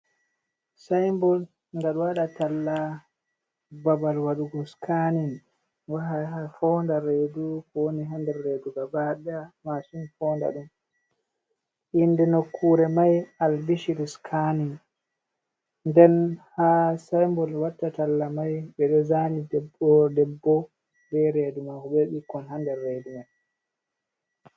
Sinbot ga do wada talla babal wadugo scaning wah founda redu ko wani ha nder redu ga bada masin founda dum, inde nokkure mai al bishir scaning den ha sinbot watta talla mai bedo zani debbo be bikkoi ha rede mai.